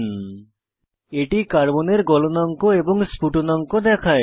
এই tab carbon carbon এর গলনাঙ্ক এবং স্ফুটনাঙ্ক প্রদর্শন করে